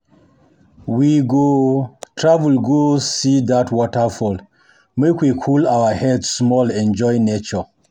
Dis historic landmark for don tell don tell us about our ancestors, but e no dey tok.